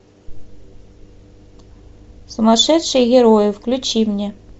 сумасшедшие герои включи мне